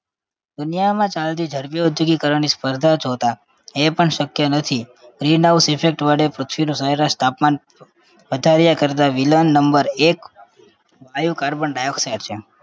દુનિયામાં ચાલતી ઝડપી ઔદ્યોગિકરણની સ્પર્ધા જોતા એ પણ શકય નથી. green house effect વડે પૃથ્વીનું સરેરાશ તાપમાન બધાએ કરતા villian number એક વાયુ carbon dioxide છે